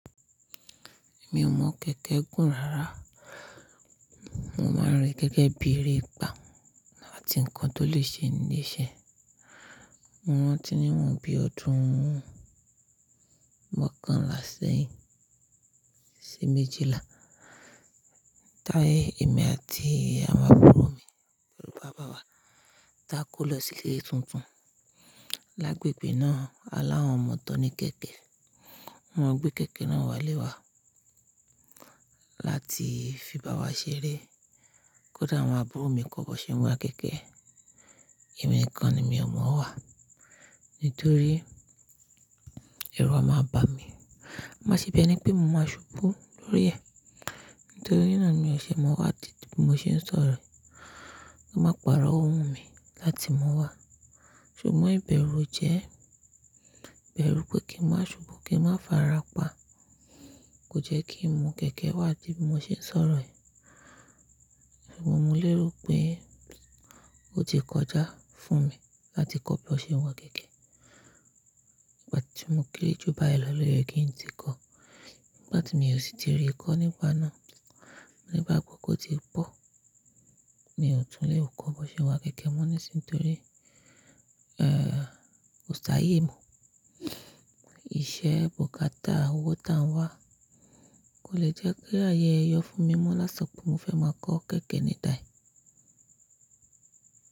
Mi ò mọ kẹ̀kẹ́ gùn rárá. Mo máa ń rí gẹ́gẹ́ bí erépá áti ǹnkan tó lè ṣe ní leṣẹ́. Mo rántí níwọ̀n bí ọdún mọ́kànlá sẹ́yìn, sì méjìlá táyé èmi àti àwọn àbúrò mi pẹ̀lú bàbá wa dákó lọ sí ilé tuntun. Lágbègbè náà alawọn ọmọ tán ní kẹ̀kẹ́. Wọ́n gbé kẹ̀kẹ́ náà wá lé wa láti fi bá wa ṣeré. Kódà àwọn àbúrò mi kọ bó ṣe ń wa kẹ̀kẹ́, èmi nìkan ni mi ò mọ̀ ọ́n wá nítorí èru a máa bà mí. Mo máa ṣe bi ení pé mo máa ṣubú lórí ẹ̀ nítorí nà ni mi ò ṣe mọ́o wá títi bí mo ṣe ń sọ̀rọ̀ ẹ́, kí a máa pàrọ̀ owú mi láti mọ̀ wá. Ṣùgbọ́n ìbẹ̀rù jẹ́, bẹ̀rù pé kí ń máa ṣubú kí ń má farapa kò jẹ́ kí ń mọ̀ kẹ̀kẹ́ wá tí bí mo ṣe ń sọ̀rọ̀ ẹ́. Sugbon mi léro pé ó ti kọjá fún mi láti kọ́ bí wó n ṣe ń wa kẹ̀kẹ́. Ìgbà tí mo kéré jù báyìí lọ̀ye kí n tí kọ. Ìgbà tí mi ò sì ti rí kọ́ nígbà náà. Ni igbá gbọ́ kó ti pọ̀, mi ò tún lè kó bó ṣe ń wa kẹ̀kẹ́ mọ́ nísinsìnyí torí, ẹ́ẹ́, kò ṣáayè mo. Ìṣe, bùkátà, owó ta ń wá kò lè jẹ́ kí ayé ẹyọ fún mi mọ́ lá ti so pé mo fẹ́ máa kọ́ kẹ̀kẹ́ ni tàí.